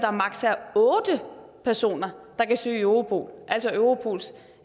otte personer der kan søge i europol altså europols